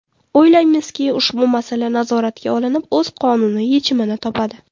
O‘ylaymizki, ushbu masala nazoratga olinib, o‘z qonuniy yechimini topadi.